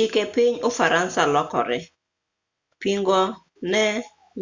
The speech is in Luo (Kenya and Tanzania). chike piny ufaransa nolokre pingo ne